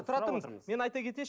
тұра тұрыңыз мен айта кетейінші